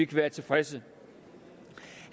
være tilfredse